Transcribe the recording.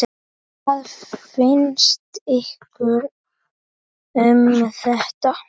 Hvað finnst ykkur um þetta?